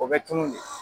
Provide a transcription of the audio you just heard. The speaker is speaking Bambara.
O bɛ tunun de